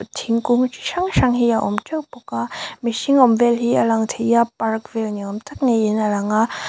thingkung chi hrang hrang hi a awm teuh bawk a mihring awm vel hi a lang thei a park vel ni awm tak ni in a lang a.